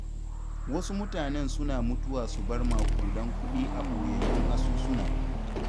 Wasu mutanen suna mutuwa su bar maƙudan kuɗi a ɓoyayyun asusuna.